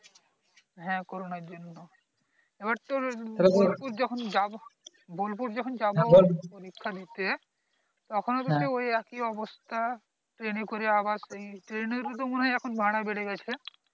হ্যাঁ corona জন্য আবার তোর বোলপুর যখন যাব বোলপুর যখন যাব পরীক্ষা দিতে তখন ও কিন্তু ওই এক এ অবস্থা trainএ করে আবার সেই train এর তো মনে হয় এখন ভাড়া বেড়ে গাছে